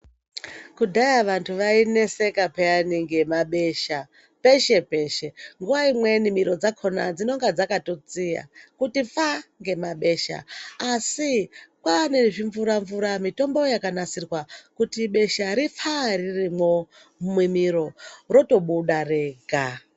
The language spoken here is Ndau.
Kudhaya vantu vaineseka pheyani ngemabesha, peshe-peshe .Nguwa imweni miro dzakhona dzinenge dzakatotsiya kuti pfaa ngemabesha ,asi kwaane zvimvura-mvura mitombo yakanasirwa ,kuti besha ripfaa ririmo mumiro, rotobuda rega.